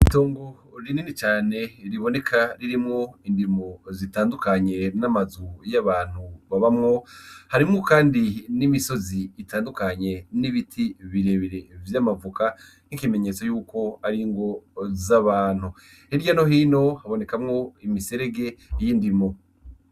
Itongo rinini cane riboneka ririmwo indimiro zitandukanye n'amazu y'abantu babamwo harimwo kandi n'imisozi itandukanye n'ibiti birebire vyama voka nk'ikimenyetso yuko ari ingo z'abantu, Hirya no hino habonekamwo imiserege y'indimo.